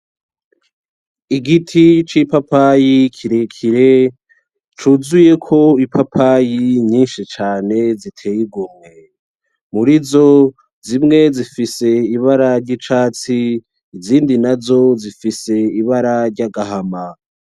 Igiti c,ipapayi kirekire cuzuyeko ipapayi nyinshi cane ziteye igomwe muri izo zimwe zifise ibara ry,icatsi izindi nazo zifise ibara ry,agahama.